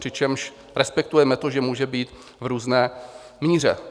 Přičemž respektujeme to, že může být v různé míře.